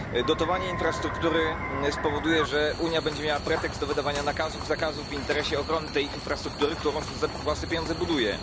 Dotowanie infrastruktury spowoduje, że Unia będzie miała pretekst do wydawania nakazów, zakazów w interesie ochrony tej infrastruktury, którą za własne pieniądze buduje.